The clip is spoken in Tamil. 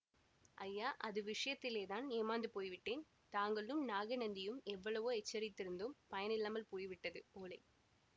ஐயா அது விஷயத்திலேதான் ஏமாந்து போய்விட்டேன் தாங்களும் நாகநந்தியும் எவ்வளவோ எச்சரித்திருந்தும் பயனில்லாமல் போய்விட்டது ஓலை